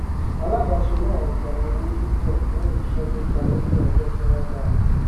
alábáṣe náà gba owó púpọ fún iṣẹ tó parí ní ọjọ tí wọn dá